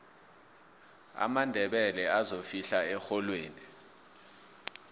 amandebele azofihla erholweni